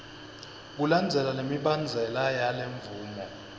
kulandzela lemibandzela yalemvumo